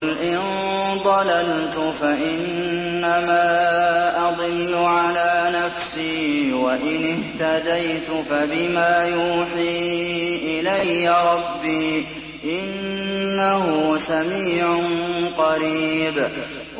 قُلْ إِن ضَلَلْتُ فَإِنَّمَا أَضِلُّ عَلَىٰ نَفْسِي ۖ وَإِنِ اهْتَدَيْتُ فَبِمَا يُوحِي إِلَيَّ رَبِّي ۚ إِنَّهُ سَمِيعٌ قَرِيبٌ